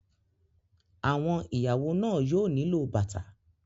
Àwọn ìyàwó náà yóò nílò bàtà.